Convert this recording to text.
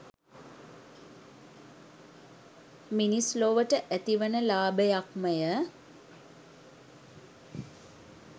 මිනිස් ලොවට ඇතිවන ලාභයක් ම ය